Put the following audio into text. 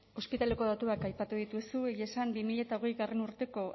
ospitaleko datuak aipatu dituzu egia esan bi mila hogeigarrena urteko